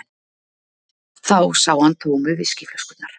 Þá sá hann tómu viskíflöskurnar.